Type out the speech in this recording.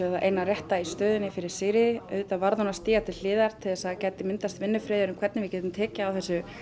það eina rétta í stöðunni fyrir Sigríði auðvitað varð hún að stíga til hliðar til þess að það gæti skapast vinnufriður um hvernig við getum tekið á þessu